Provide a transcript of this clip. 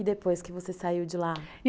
E depois que você saiu de lá?